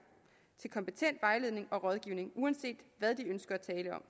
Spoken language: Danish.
til kompetent vejledning og rådgivning uanset hvad de ønsker at tale om